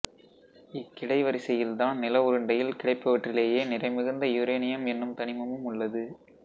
இக் கிடைவரிசையில்தான் நில உருண்டையில் கிடைப்பவற்றிலேயே நிறைமிகுந்த யுரேனியம் என்னும் தனிமமும் உள்ளது